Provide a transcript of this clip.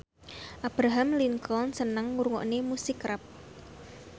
Abraham Lincoln seneng ngrungokne musik rap